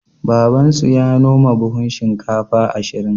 Babansu ya noma buhun shinkafa ashirin.